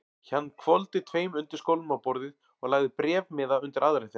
Hann hvolfdi tveim undirskálum á borðið og lagði bréfmiða undir aðra þeirra.